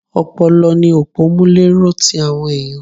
Ọpọlọ ni òpọ́múléró ti àwọn ẹ̀yàn.